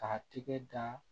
K'a tigɛ dan